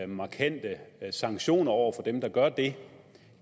markante sanktioner over for dem der gør det